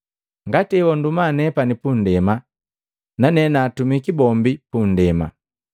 Ngati ewanduma nepani pundema, nane naatumiki bombi pundema.